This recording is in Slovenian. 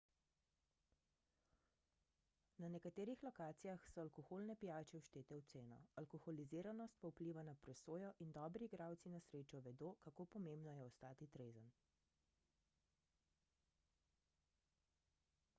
na nekaterih lokacijah so alkoholne pijače vštete v ceno alkoholiziranost pa vpliva na presojo in dobri igralci na srečo vedo kako pomembno je ostati trezen